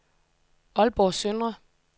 Aalborg Søndre